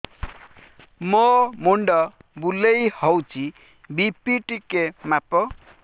ମୋ ମୁଣ୍ଡ ବୁଲେଇ ହଉଚି ବି.ପି ଟିକେ ମାପ